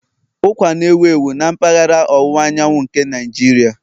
Ụkwa na-ewu ewu na mpaghara ọwụwa anyanwụ nke Nigeria